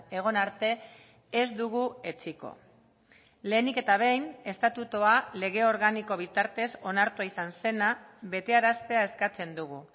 egon arte ez dugu etsiko lehenik eta behin estatutua lege organiko bitartez onartua izan zena betearaztea eskatzen dugu